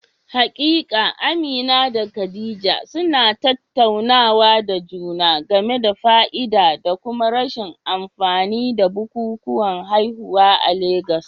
Haƙiƙa, Amina da Khadija suna tattaunawa da juna game da fa'ida da kuma rashin amfani da bukukuwan haihuwa a Legas.